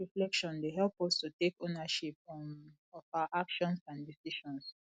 selfreflection dey help us to take ownership um of our actions and decisions